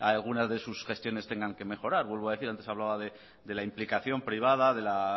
algunas de sus gestiones tengan que mejorar vuelvo a decir antes hablaba de la implicación privada de la